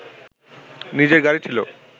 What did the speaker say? নিজের গাড়ি ছিল